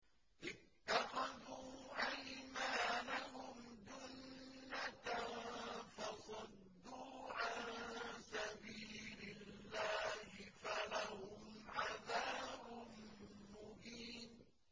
اتَّخَذُوا أَيْمَانَهُمْ جُنَّةً فَصَدُّوا عَن سَبِيلِ اللَّهِ فَلَهُمْ عَذَابٌ مُّهِينٌ